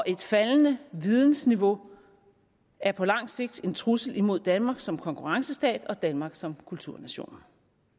et faldende vidensniveau er på lang sigt en trussel imod danmark som konkurrencestat og danmark som kulturnation